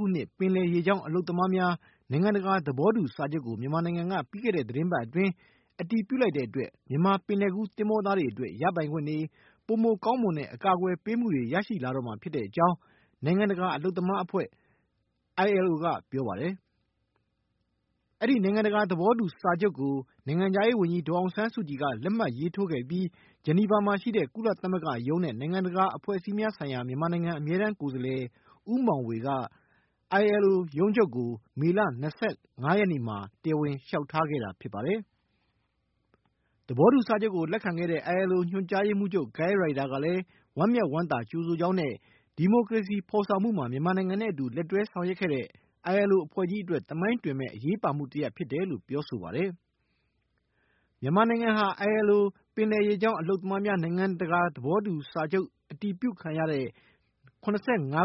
ခုနှစ် ပင်လယ်ရေကြောင်းအလုပ်သမားများ နိုင်ငံတကာ သဘောတူစာချုပ် ကို မြန်မာနိုင်ငံက ပြီးခဲ့တဲ့ သီတင်းပတ်အတွင်း အတည်ပြုလိုက်တဲ့အတွက် မြန်မာ ပင်လယ်ကူး သင်္ဘောသားတွေအတွက် ရပိုင်ခွင့်တွေ၊ ပိုမိုကောင်းမွန်တဲ့ အကာကွယ်ပေးမှုတွေ ရရှိလာတော့မှာ ဖြစ်ကြောင်း နိုင်ငံတကာ အလုပ်သမား အဖွဲ့ ILO က ပြောပါတယ်။ အဲဒီ နိုင်ငံတကာ သဘောတူစာချုပ်ကို နိုင်ငံခြားရေးဝန်ကြီး ဒေါ်အောင်ဆန်းစုကြည်က လက်မှတ်ရေးထိုးခဲ့ပြီး Geneva မှာရှိတဲ့ ကုလသမဂ္ဂရုံးနဲ့ နိုင်ငံတကာအဖွဲ့အစည်းများဆိုင်ရာ မြန်မာနိုင်ငံအမြဲတမ်း ကိုယ်စားလှယ် ဦးမောင်ေ၀ က ILO ရုံးချုပ်ကို မေလ ၂၅ ရက်နေ့မှာ တရားဝင် လျှောက်ထားခဲ့တာဖြစ်ပါတယ်။ သဘောတူစာချုပ်ကို လက္ခံခဲ့တဲ့ ILO ညွှန်ကြားရေးမှုးချုပ် Guy Ryder ကလည်း ဝမ်းမြောက်ဝမ်းသာ ကြိုဆိုကြောင်းနဲ့ ဒီမိုကရေစီဖေါ်ဆောင်မှုမှာ မြန်မာနိုင်ငံနဲ့အတူ လက်တွဲဆောင်ရွက်ခဲ့တဲ့ ILO အဖွဲ့ကြီးအတွက်၊ သမိုင်းတွင်မဲ့ အရေးပါမှု တရပ်ဖြစ်တယ်လို့ ပြောဆိုပါတယ်။ မြန်မာနိုင်ငံဟာ ILO ပင်လယ်ရေကြောင်းအလုပ်သမားများ နိုင်ငံတကာ သဘောတူညီမှုစာချုပ် အတည်ပြုခံရတဲ့ ၇၅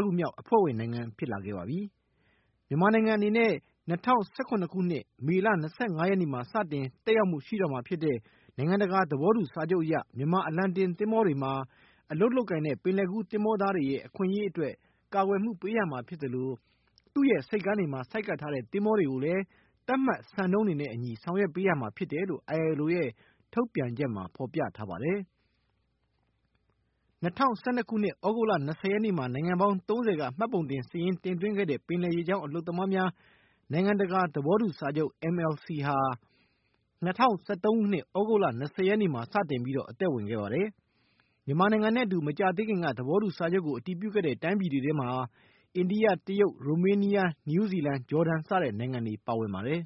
ခု မြောက် အဖွဲ့ဝင်နိုင်ငံ ဖြစ်လာခဲ့ပါပြီ။ မြန်မာနိုင်ငံအနေနဲ့ ၂၀၁၇ ခုနှစ် မေလ ၂၅ နေ့မှာ စတင် သက်ရောက်မှုရှိတော့မှာ ဖြစ်တဲ့ နိုင်ငံတကာ သဘောတူ စာချုပ်အရ မြန်မာအလံတင်တဲ့ သင်္ဘောတွေမှာ အလုပ်လုပ်ကိုင်တဲ့ ပင်လယ်ကူးသင်္ဘောသားတွေရဲ့ အခွင့်ရေးအတွက် ကာကွယ်မှု ပေးရမှာ ဖြစ်သလို သူ့ရဲ့ဆိပ်ကမ်းတွေမှာ ဆိုက်ကပ်တဲ့ သင်္ဘောတွေကိုလည်း သပ်မှတ် စံနှုန်းတွေနဲ့ အညီ ဆောင်ရွက်ပေးရမှာ ဖြစ်တယ်လို့ ILO ရဲ့ ထုတ်ပြန်ချက်မှာ ဖေါ်ပြထားပါတယ်။ ၂၀၁၂ ခုနှစ် သြဂုတ်လ ၂၀ ရက်နေ့မှာ နိုင်ငံပေါင်း ၃၀ က မှတ်ပုံတင် စာရင်းတင်သွင်းခဲ့တဲ့ ပင်လယ်ရေကြောင်း အလုပ်သမားများ နိုင်ငံတကာ သဘောတူစာချုပ် MLC ဟာ ၂၀၁၃ ခုနှစ် သြဂုတ်လ ၂၀ ရက်နေ့မှာ စတင်အသက် ဝင်ခဲ့ပါတယ်။ မြန်မာနိုင်ငံနဲ့အတူ မကြာသေးခင်က က သဘောတူစာချုပ်ကို အတည်ပြုခဲ့တဲ့ တိုင်းပြည်တွေထဲမှာ အိန္ဒိယ၊ တရုတ်၊ ရိုမေးနီးယား၊ နယူးဇီလန်၊ ဂျော်ဒန် စတဲ့ နိုင်ငံတွေပါဝင်ပါတယ်။